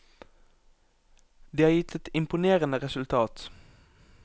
Det har gitt et imponerende resultat.